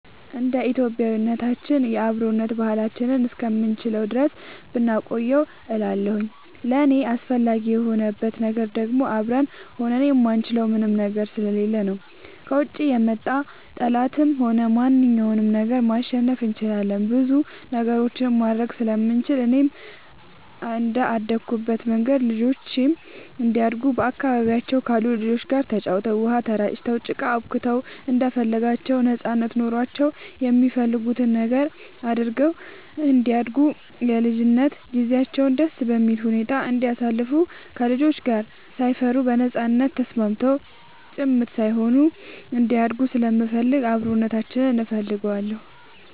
እንደ ኢትዮጵያዊነታችን የአብሮነት ባህላችንን እስከምንችለው ድረስ ብናቆየው እላለሁኝ። ለእኔ አስፈላጊ የሆንበት ነገር ደግሞ አብረን ሆነን የማንችለው ምንም ነገር ስለሌለ ነው። ከውጭ የመጣ ጠላትንም ሆነ ማንኛውንም ነገር ማሸነፍ እንችላለን ብዙ ነገሮችንም ማድረግ ስለምንችል፣ እኔም እንደአደኩበት መንገድ ልጆቼም እንዲያድጉ በአካባቢያቸው ካሉ ልጆች ጋር ተጫውተው, ውሃ ተራጭተው, ጭቃ አቡክተው እንደፈለጋቸው ነጻነት ኖሯቸው የሚፈልጉትን ነገር አድርገው እንዲያድጉ የልጅነት ጊዜያቸውን ደስ በሚል ሁኔታ እንዲያሳልፉ ከልጆች ጋር ሳይፈሩ በነጻነት ተስማምተው ጭምት ሳይሆኑ እንዲያድጉ ስለምፈልግ አብሮነታችንን እፈልገዋለሁ።